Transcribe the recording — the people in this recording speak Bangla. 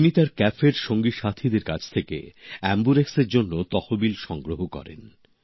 তিনি তার কাফের সঙ্গী সাথীদের কাছ থেকে এম্বুরেক্সর জন্য তহবিল সংগ্রহ করেন